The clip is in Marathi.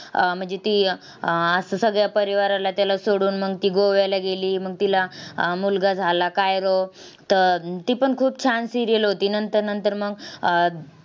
अह म्हणजे ती अह असं सगळ्या परिवाराला त्याला सोडून मग ती गोव्याला गेली. मग तिला अह मुलगा झाला. काय तर तीपण खूप छान serial होती. नंतर नंतर मग अह